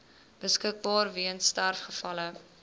beskikbaar weens sterfgevalle